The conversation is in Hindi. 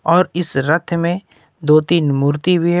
और इस रथ में दो तीन मूर्ति भी हैं।